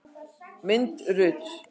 Mynd Rut.